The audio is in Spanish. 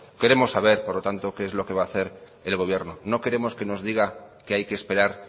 queremos saber por lo tanto qué es lo que va hacer el gobierno no queremos que nos diga que hay que esperar